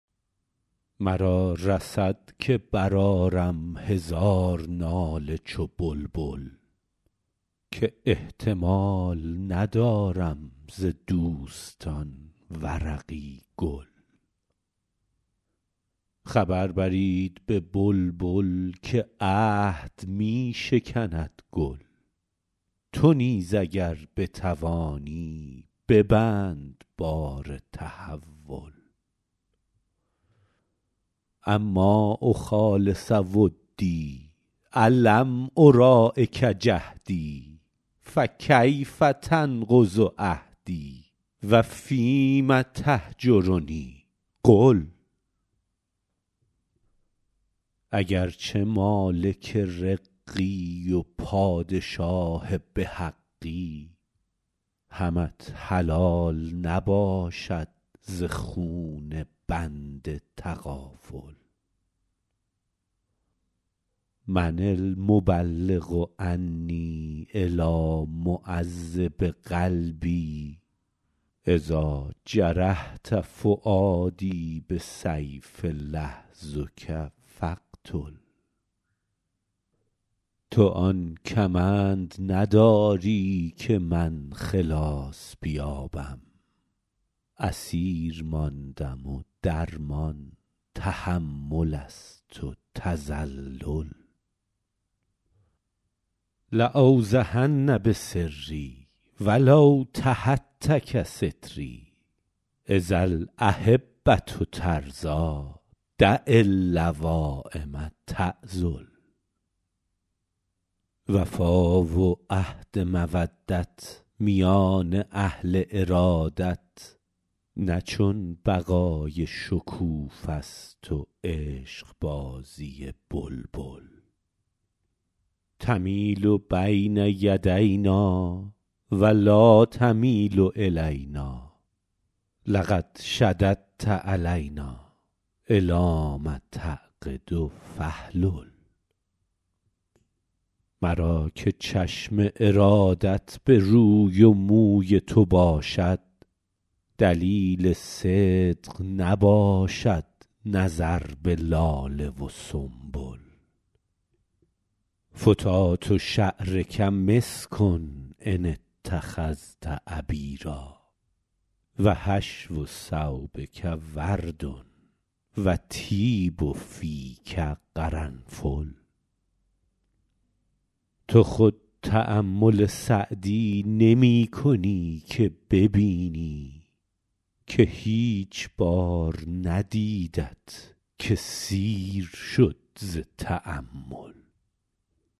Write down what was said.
مرا رسد که برآرم هزار ناله چو بلبل که احتمال ندارم ز دوستان ورقی گل خبر برید به بلبل که عهد می شکند گل تو نیز اگر بتوانی ببند بار تحول أما أخالص ودی ألم أراعک جهدی فکیف تنقض عهدی و فیم تهجرنی قل اگر چه مالک رقی و پادشاه به حقی همت حلال نباشد ز خون بنده تغافل من المبلغ عنی إلیٰ معذب قلبی إذا جرحت فؤادی بسیف لحظک فاقتل تو آن کمند نداری که من خلاص بیابم اسیر ماندم و درمان تحمل است و تذلل لأوضحن بسری و لو تهتک ستری إذا الأحبة ترضیٰ دع اللوایم تعذل وفا و عهد مودت میان اهل ارادت نه چون بقای شکوفه ست و عشقبازی بلبل تمیل بین یدینا و لا تمیل إلینا لقد شددت علینا إلام تعقد فاحلل مرا که چشم ارادت به روی و موی تو باشد دلیل صدق نباشد نظر به لاله و سنبل فتات شعرک مسک إن اتخذت عبیرا و حشو ثوبک ورد و طیب فیک قرنفل تو خود تأمل سعدی نمی کنی که ببینی که هیچ بار ندیدت که سیر شد ز تأمل